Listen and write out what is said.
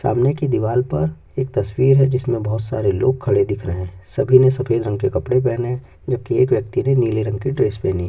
सामने की दीवार पर एक तस्वीर है जिसमें बहुत सारे लोग खड़े दिख रहे हैं सभी ने सफेद रंग के कपड़े पहने है जबकि एक व्यक्ति ने नीले रंग की ड्रेस पहनी है।